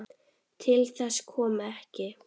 Til þess kom ekki.